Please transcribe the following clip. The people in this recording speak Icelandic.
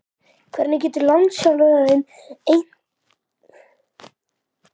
Hvernig getur landsliðsþjálfarinn eitthvað fylgst með ykkur hérna?